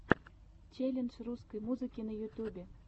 челлендж русской музыки на ютьюбе